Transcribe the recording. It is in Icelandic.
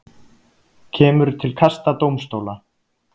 Kemur til kasta dómstóla